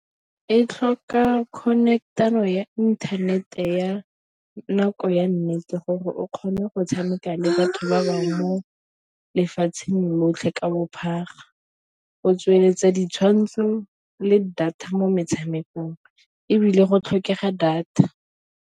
E tlhoka connect-ano ya inthanete ya nako ya nnete gore o kgone go tshameka le batho ba bangwe mo lefatsheng lotlhe ka bophara, go tsweletsa ditshwantsho le data mo metshamekong ebile go tlhokega data.